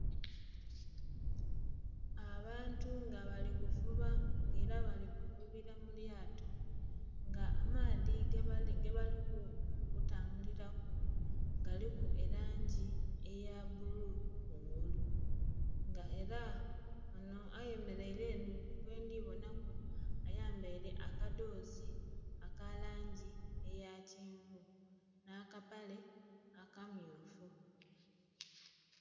Abantu nga bali kuvuba nga ela bali kuvubila mu lyato. Nga amaadhi ge bali kutambulira ku galiku elangi eya bbululu kungulu. Nga ela onho ayemeleile enho gwendi bonhaku, ayambaile akadhoozi aka langi eya kyenvu, nh'akapale akammyufu.